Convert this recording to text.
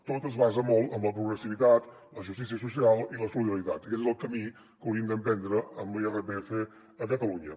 tot es basa molt en la progressivitat la justícia social i la solidaritat aquest és el camí que hauríem d’emprendre amb l’irpf a catalunya